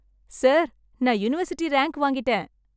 sir நான் university rank வாங்கிட்டேன்